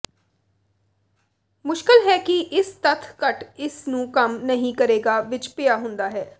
ਮੁਸ਼ਕਲ ਹੈ ਕਿ ਇਸ ਤੱਥ ਘੱਟ ਇਸ ਨੂੰ ਕੰਮ ਨਹੀ ਕਰੇਗਾ ਵਿਚ ਪਿਆ ਹੁੰਦਾ ਹੈ